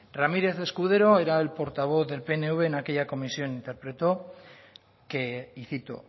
ramírez escudero era el portavoz del pnv en aquella comisión interpretó que y cito